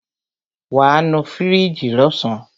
Wàá nu fíríjì lọ́sàn.